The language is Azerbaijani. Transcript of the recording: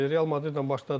Real Madridlə başladın.